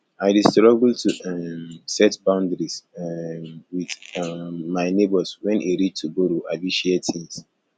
i dey struggle to um set boundaries um with um my neighbors wen e reach to borrow abi share things